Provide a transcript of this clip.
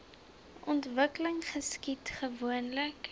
ontwikkeling geskied gewoonlik